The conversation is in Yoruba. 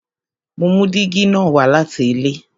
Mo mú dígí na wá láti ilé